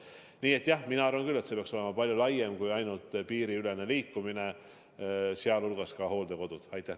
Nii et jah, mina arvan küll, et see peaks olema palju laiem kui ainult piiriülene liikumine ja puudutama muu hulgas ka hooldekodusid.